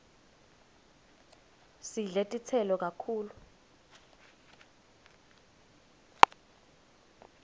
sidle titselo kakhulu